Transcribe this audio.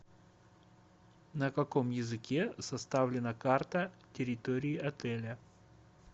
на каком языке составлена карта территории отеля